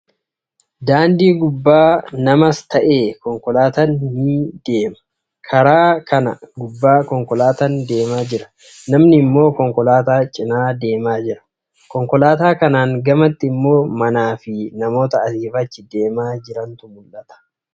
Daandii gubbaa namas ta'ee, konkolaataan ni deema. Karaa kana gubbaa konkolaataan deemaa jira. Namni immoo konkolaataa cinaa deemaa jira. Konkolaataa kanaan gamatti immoo, manaa fi namoota asii fi achi deemaa jirantu mul'ata.